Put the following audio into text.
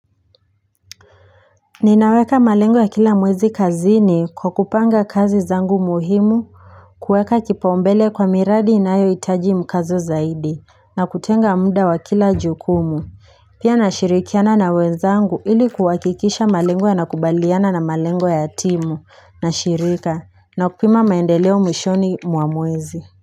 Ninaweka malengo ya kila mwezi kazini kwa kupanga kazi zangu muhimu kuweka kipaombele kwa miradi inayo hitaji mkazo zaidi na kutenga muda wa kila jukumu Pia nashirikiana na wenzangu ili kuhakikisha malengo ya nakubaliana na malengo ya timu na shirika na kupima maendeleo mwishoni mwa mwezi.